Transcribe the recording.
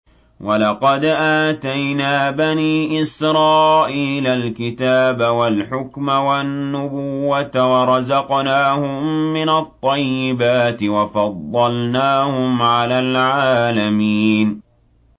وَلَقَدْ آتَيْنَا بَنِي إِسْرَائِيلَ الْكِتَابَ وَالْحُكْمَ وَالنُّبُوَّةَ وَرَزَقْنَاهُم مِّنَ الطَّيِّبَاتِ وَفَضَّلْنَاهُمْ عَلَى الْعَالَمِينَ